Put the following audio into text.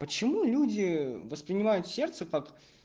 почему люди воспринимают сердце как